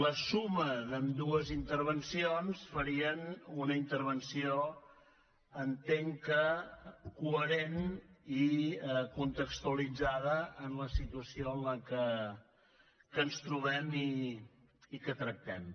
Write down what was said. la suma d’ambdues intervencions farien una intervenció entenc que coherent i contextualitzada en la situació en què ens trobem i que tractem